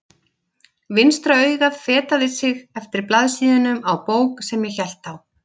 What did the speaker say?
Vinstra augað fetaði sig eftir blaðsíðunum á bók sem ég hélt á.